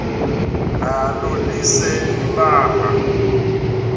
nalo lise libaha